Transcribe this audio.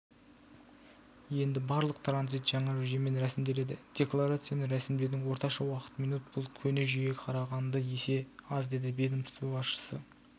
енді барлық транзит жаңа жүйемен рәсімделеді декларацияны рәсімдеудің орташа уақыты минут бұл көне жүйеге қарағанда есе аз деді ведомство басшысы